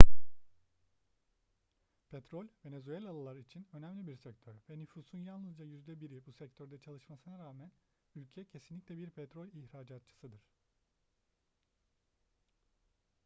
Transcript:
petrol venezuelalılar için önemli bir sektör ve nüfusun yalnızca yüzde biri bu sektörde çalışmasına rağmen ülke kesinlikle bir petrol ihracatçısıdır